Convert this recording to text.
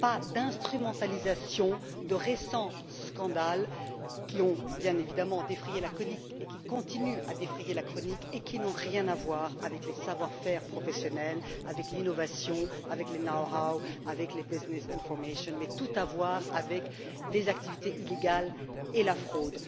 Pas d'instrumentalisation de récents scandales qui ont, bien évidemment, défrayé la chronique, et qui continuent à le faire, et qui n'ont rien à voir avec les savoir faire professionnels, avec l'innovation, avec les know how avec les business information mais qui ont tout à voir avec les activités illégales et la fraude.